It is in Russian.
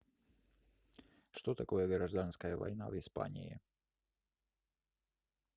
что такое гражданская война в испании